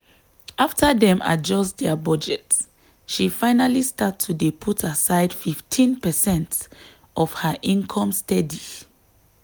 after dem adjust dia budget she finally start to dey put aside 15 percent of her income steady.